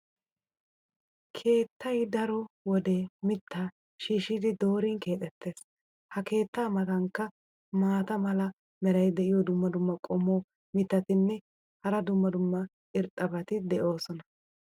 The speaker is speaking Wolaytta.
keettay daro wode mitaa shiishshidi doorin keexettees. ha keetta matankka maata mala meray diyo dumma dumma qommo mitattinne hara dumma dumma irxxabati de'oosona.